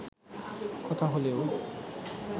কথা হলেও